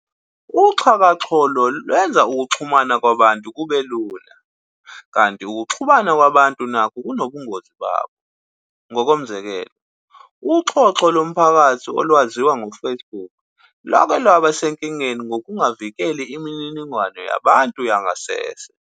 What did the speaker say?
UXhakaxholo lwenza ukuxhumana kwabantu kube lula, kanti ukuxhumana nako kunobungozi babo. Ngokomzekelo, uXhoxho lomphakathi olwaziwa ngo-Facebook lwake lwaba sezinkingeni ngokungavikeli imininingwano yabantu yangasese.